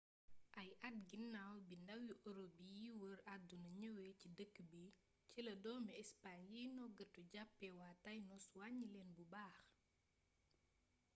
ay at ginaaw bi ndawi europe yiy wër àdduna ñëwee ci dëkk bi ci la doomi espagne yiy noggatu jàppee waa tainos wàññi leen bu baax